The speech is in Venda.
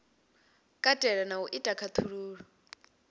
katela na u ita khaṱhululo